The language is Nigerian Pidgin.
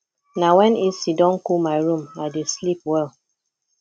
na wen ac don cool my room i dey sleep well